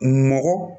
Mɔgɔ